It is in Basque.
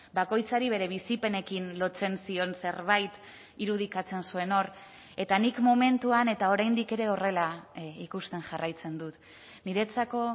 bakoitzari bere bizipenekin lotzen zion zerbait irudikatzen zuen hor eta nik momentuan eta oraindik ere horrela ikusten jarraitzen dut niretzako